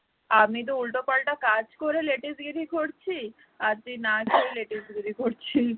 আমি তো উল্টাপাল্টা কাজ করে latest গিরি করছি আর তুই না খেয়ে latest গিরি করছিশ